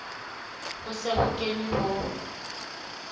ho se ho kenwe ho